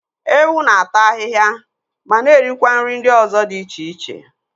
Ewu na-ata ahịhịa mana erikwa nri ndị ọzọ dị iche iche.